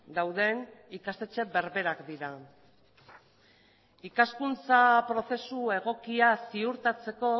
dauden ikastetxe berberak dira ikaskuntza prozesu egokia ziurtatzeko